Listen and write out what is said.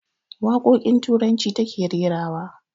Waƙoƙin turanci ta ke rerawa